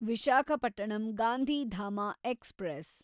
Visakhapatnam Gandhidham express